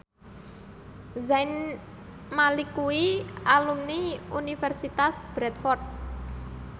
Zayn Malik kuwi alumni Universitas Bradford